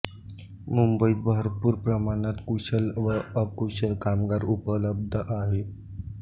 मुंबईत भरपूर प्रमाणात कुशल व अकुशल कामगार उपलब्ध आहेत